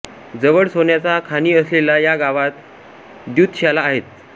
जवळ सोन्याच्या खाणी असलेल्या या गावात द्यूतशाला आहेत